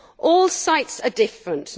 All sites are different